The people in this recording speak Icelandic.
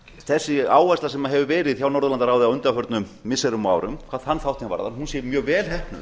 þessi áhersla sem hefur verið hjá norðurlandaráði á undanförnum missirum og árum hvað þann þáttinn varðar sé mjög vel heppnuð